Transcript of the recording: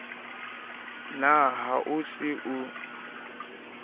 na ha o se o